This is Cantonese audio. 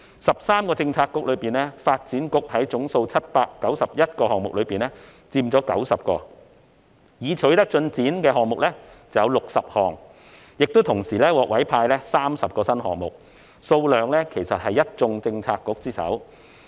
13個政策局之中，發展局在總數791個項目中佔了90項：已取得進展的項目有60項，而同時獲委派的新項目則有30個，數量是一眾政策局之首。